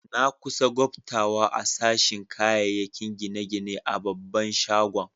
Na kusa gbatawa a sashin kayakin gine-gine a babban shagon.